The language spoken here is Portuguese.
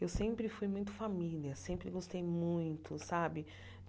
Eu sempre fui muito família, sempre gostei muito, sabe?